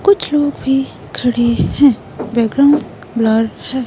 कुछ लोग भी खड़े हैं बैकग्राउंड ब्लर है।